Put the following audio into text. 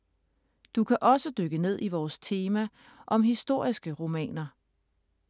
Du kan også dykke ned i vores tema om historiske romaner.